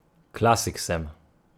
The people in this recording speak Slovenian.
Klasik sem.